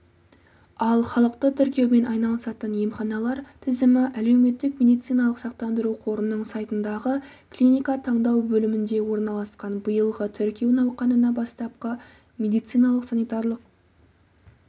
ал халықты тіркеумен айналысатын емханалар тізімі әлеуметтік медициналық сақтандыру қорының сайтындағы клиника таңдау бөлімінде орналасқан биылғы тіркеу науқанына бастапқы медициналық-санитарлық